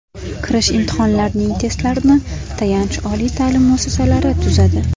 Kirish imtihonlarining testlarini tayanch oliy ta’lim muassasalari tuzadi”.